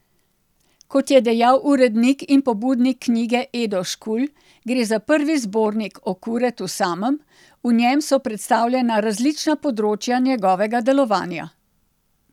Kot je dejal urednik in pobudnik knjige Edo Škulj, gre za prvi zbornik o Kuretu samem, v njem so predstavljena različna področja njegovega delovanja.